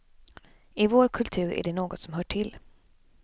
I vår kultur är det något som hör till.